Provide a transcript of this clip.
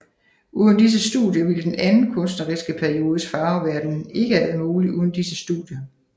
Uden disse studier ville den anden kunstneriske periodes farveverden ikke have været mulig uden disse studier